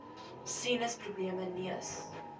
sinus probleme neus